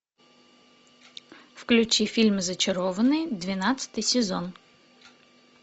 включи фильм зачарованные двенадцатый сезон